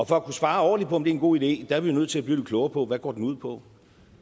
for at kunne svare ordentligt på om det er en god idé er vi nødt til at blive lidt klogere på hvad det går ud på